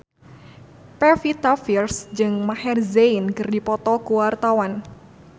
Pevita Pearce jeung Maher Zein keur dipoto ku wartawan